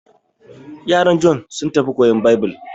Yaran Jon sun tafi koyan Baibil.